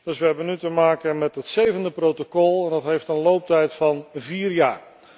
Dus we hebben nu te maken met het zevende protocol dat een looptijd heeft van vier jaar.